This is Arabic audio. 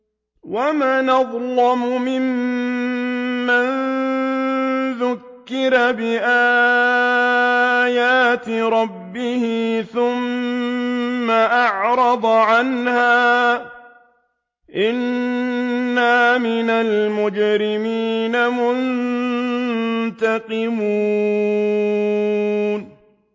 وَمَنْ أَظْلَمُ مِمَّن ذُكِّرَ بِآيَاتِ رَبِّهِ ثُمَّ أَعْرَضَ عَنْهَا ۚ إِنَّا مِنَ الْمُجْرِمِينَ مُنتَقِمُونَ